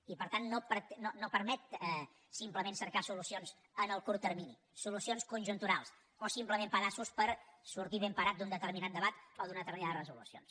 i per tant no permet simplement cercar solucions en el curt termini solucions conjunturals o simplement pedaços per sortir ben parat d’un determinat debat o d’unes determines resolucions